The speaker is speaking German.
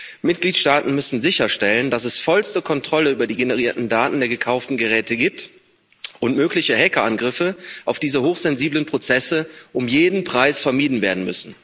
Die Mitgliedstaaten müssen sicherstellen, dass es vollste Kontrolle über die generierten Daten der gekauften Geräte gibt und mögliche Hackerangriffe auf diese hochsensiblen Prozesse um jeden Preis vermieden werden.